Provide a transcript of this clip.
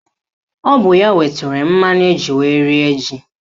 Ọ bụ ya wetara mmanụ eji wee rie ji